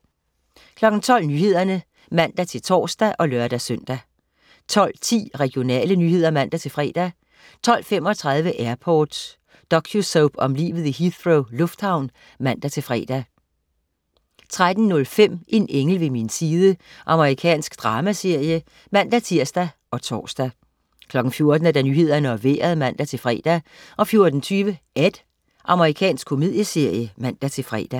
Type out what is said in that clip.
12.00 Nyhederne (man-tors og lør-søn) 12.10 Regionale nyheder (man-fre) 12.35 Airport. Docusoap om livet i Heathrow lufthavn (man-fre) 13.05 En engel ved min side. Amerikansk dramaserie (man-tirs og tors) 14.00 Nyhederne og Vejret (man-fre) 14.20 Ed. Amerikansk komedieserie (man-fre)